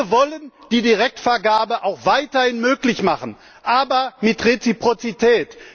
Wir wollen die Direktvergabe auch weiterhin möglich machen aber mit Reziprozität!